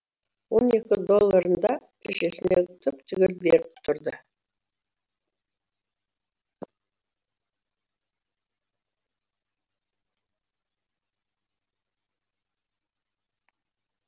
он екі долларын да шешесіне түп түгел беріп тұрды